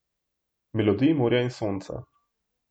Melodij morja in sonca.